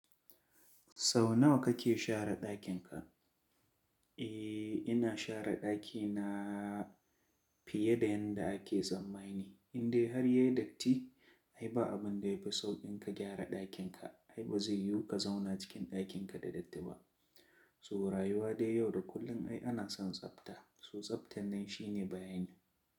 Sau nawa kake share ɗakin ka? Eh ina share ɗakina fiye da yadda ake tsammani. Indai har yayi datti ai ba abun da yafi sauƙin ka gyara ɗakin ka. Ai ba zai yiwu ka zauna cikin ɗakin ka da datti ba. To rayuwa dai yau da kullum ai ana son tsafta. To tsaftan nan shine bayani.